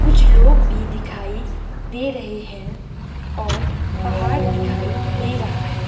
कुछ लोग भी दिखाई दे रहे हैं और पहाड़ दिखाई दे रहा है।